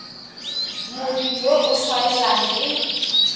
motho yo o tshwanelang ke